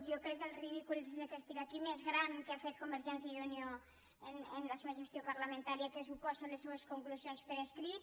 jo crec que el ridícul des que estic aquí més gran que ha fet convergència i unió en la seva gestió parlamentària el que suposen les seues conclusions per escrit